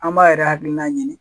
An b'a yɛrɛ hakilina ɲini.